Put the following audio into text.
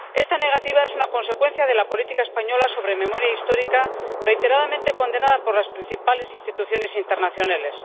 Esta negativa es una consecuencia de la política española sobre memoria histórica, reiteradamente condenada por las principales instituciones internacionales.